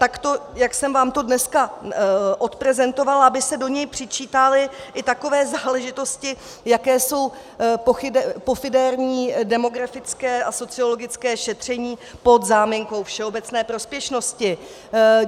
Takto, jak jsem vám to dneska odprezentovala, aby se do něj přičítaly i takové záležitosti, jako jsou pofidérní demografické a sociologické šetření pod záminkou všeobecné prospěšnosti.